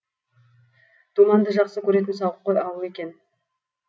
думанды жақсы көретін сауыққой ауыл екен